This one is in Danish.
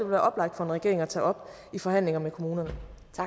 være oplagt for en regering at tage op i forhandlinger med kommunerne